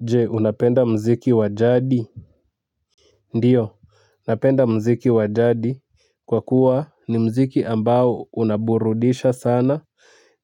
Je unapenda mziki wa jadi ndio napenda mziki wa jadi kwa kuwa ni mziki ambao unaburudisha sana